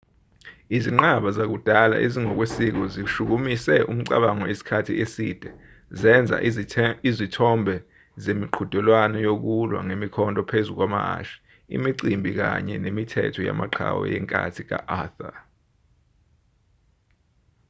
izinqaba zakudala ezingokwesiko zishukumise umcabango isikhathi eside zenza izithombe zemiqhudelwano yokulwa ngemikhonto phezu kwamahhashi imicimbi kanye nemithetho yamaqhawe yenkathi ka-arthur